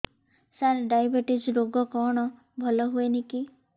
ସାର diabetes ରୋଗ କଣ ଭଲ ହୁଏନି କି